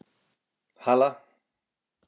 Hala